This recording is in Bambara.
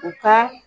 U ka